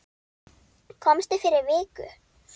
Komstu fyrir viku?